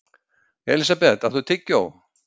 Elísabeth, áttu tyggjó?